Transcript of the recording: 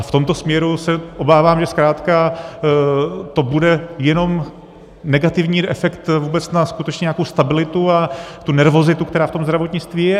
A v tomto směru se obávám, že zkrátka to bude jenom negativní efekt vůbec na skutečně nějakou stabilitu a tu nervozitu, která v tom zdravotnictví je.